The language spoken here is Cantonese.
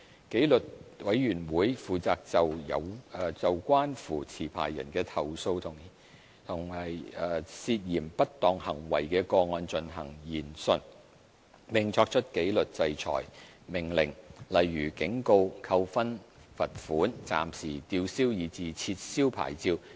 紀律委員會負責就關乎持牌人的投訴和涉嫌不當行為的個案進行研訊，並作出紀律制裁命令，例如警告、扣分、罰款、暫時吊銷以至撤銷牌照。